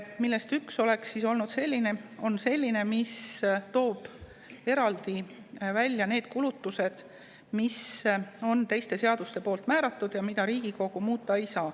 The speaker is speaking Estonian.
Neist üks on selline, mis toob eraldi ära need kulutused, mis on teistes seadustes määratud ja mida Riigikogu muuta ei saa.